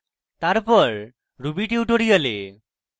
তারপর ruby tutorial